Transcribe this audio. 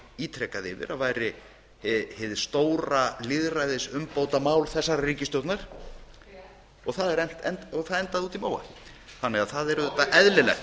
ítrekað yfir að væri hið stóra lýðræðisumbótamál þessarar ríkisstjórnar það endaði úti í móa þannig að það er auðvitað eðlilegt